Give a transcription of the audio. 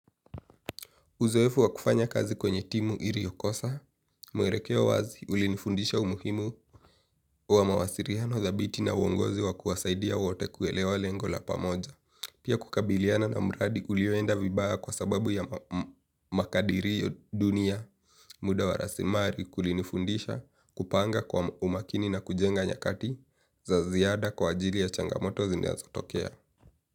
Uzoefu wa kufanya kazi kwenye timu iriokosa, mwerekeo wazi ulinifundisha umuhimu wa mawasiriano thabiti na uongozi wa kuwasaidia wote kuelewa lengo la pamoja. Pia kukabiliana na mradi ulioenda vibaya kwa sababu ya makadiri dunia muda wa rasimari kulinifundisha kupanga kwa umakini na kujenga nyakati za ziada kwa ajili ya changamoto zinazo tokea.